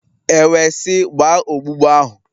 E wee sị, gbaa ogbugbu ahụ!